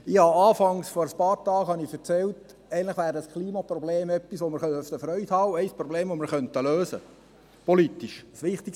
Ich habe vor einigen Tagen erzählt, dass das Klimaproblem etwas wäre, an dem wir Freude haben könnten, und dass es ein Problem ist, das wir politisch lösen könnten;